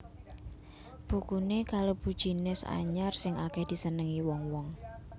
Bukuné kalebu jinis anyar sing akèh disenengi wong wong